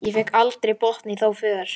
Ég fékk aldrei botn í þá för.